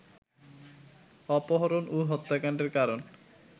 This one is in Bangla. অপহরণ ও হত্যাকাণ্ডের কারণ